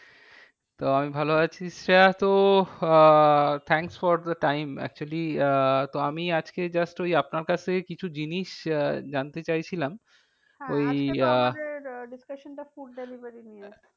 তো আমি ভালো আছি। শ্রেয়া তো ah thanks for the time actually ah তো আমি আজকে just ওই আপনার কাছ থেকে কিছু জিনিস আহ জানতে চাইছিলাম। ওই আহ আমাদের discussion টা food delivery নিয়ে।